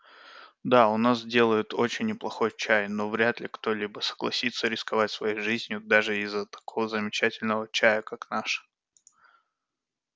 да у нас делают очень неплохой чай но вряд ли кто-либо согласится рисковать своей жизнью даже из-за такого замечательного чая как наш